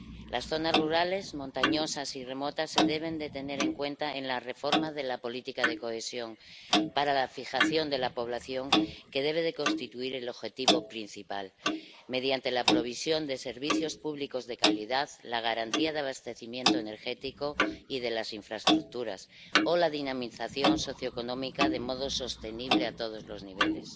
Las zonas rurales, montañosas y remotas se deben tener en cuenta en la reforma de la política de cohesión, para la fijación de la población, que debe constituir el objetivo principal, mediante la provisión de servicios públicos de calidad, la garantía de abastecimiento energético y de las infraestructuras o la dinamización socioeconómica de modo sostenible a todos los niveles.